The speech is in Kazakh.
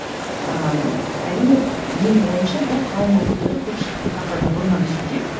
ыыы әрине менің ойымша бұл қауым өкілдері көпшіліктің қаһарына бұрыннын түсуде